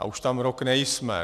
A už tam rok nejsme.